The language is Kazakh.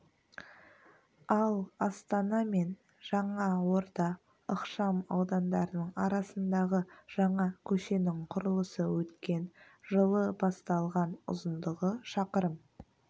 ал астана мен жаңа орда ықшам аудандарының арасындағы жаңа көшенің құрылысы өткен жылы басталған ұзындығы шақырым